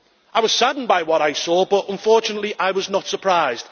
I was saddened by what I saw, but unfortunately I was not surprised.